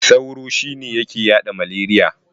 Sauro shine yake yaɗa maleriya.